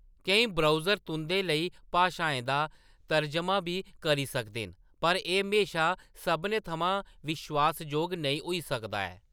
केईं ब्राउज़र तुंʼदे लेई भाशाएं दा तरजमा बी करी सकदे न, पर एह्‌‌ म्हेशा सभनें थमां विश्वास जोग नेईं होई सकदा ऐ।